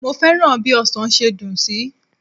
Mo fẹ́ràn bí ọsàn ṣe dùn sí.